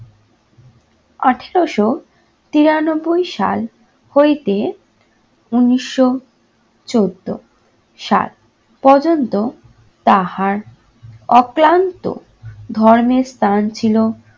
আঠেরোশো তিরানব্বই হইতে উনিশশো চোদ্দ সাল পর্যন্ত তাহার অক্লান্ত ধর্মের স্থান ছিল